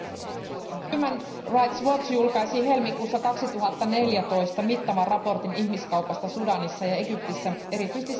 Arvoisa puhemies, julkaisi helmikuussa 2014 mittavan raportin ihmiskaupasta Sudanissa ja Egyptissä, erityisesti Siinain alueella.